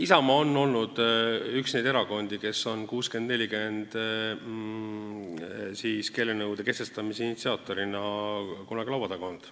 Isamaa on olnud üks neid erakondi, kes on 60 : 40 nõude kehtestamise initsiaatorina kunagi laua taga olnud.